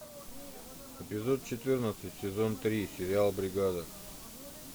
эпизод четырнадцать сезон три сериал бригада